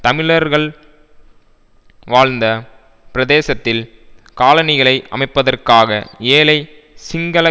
தமிழர்கள் வாழ்ந்த பிரதேசத்தில் காலனிகளை அமைப்பதற்காக ஏழை சிங்கள